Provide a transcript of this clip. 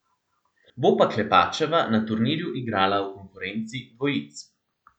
Bo pa Klepačeva na turnirju igrala v konkurenci dvojic.